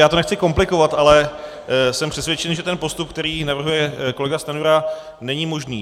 Já to nechci komplikovat, ale jsem přesvědčen, že ten postup, který navrhuje kolega Stanjura, není možný.